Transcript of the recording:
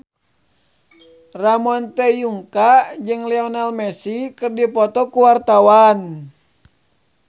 Ramon T. Yungka jeung Lionel Messi keur dipoto ku wartawan